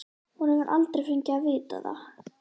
Hún hefur aldrei fengið að vita það.